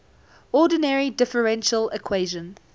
ordinary differential equation